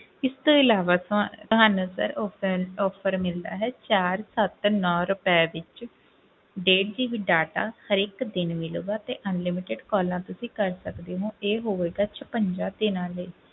ਇਸ ਤੋਂ ਇਲਾਵਾ ਤੁਹ~ ਤੁਹਾਨੂੰ sir offer offer ਮਿਲਦਾ ਹੈ ਚਾਰ ਸੱਤ ਨੋਂ ਰੁਪਏ ਵਿੱਚ ਡੇਢ GB data ਹਰੇਕ ਦਿਨ ਮਿਲੇਗਾ ਤੇ unlimited calls ਤੁਸੀਂ ਕਰ ਸਕਦੇ ਹੋ ਇਹ ਹੋਵੇਗਾ ਛਪੰਜਾ ਦਿਨਾਂ ਲਈ।